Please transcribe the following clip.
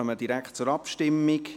Wir kommen direkt zur Abstimmung.